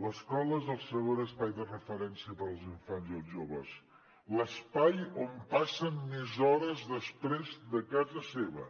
l’escola és el segon espai de referència per als infants i els joves l’espai on passen més hores després de casa seva